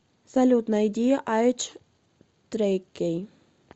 салют найди айдж трейкей